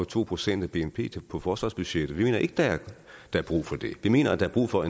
to procent af bnp på forsvarsbudgettet vi mener ikke der er brug for det vi mener der er brug for